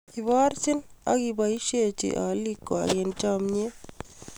Iborjin ak koboisiechin olikwak eng chomyiet